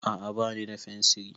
A'a bani da fensiri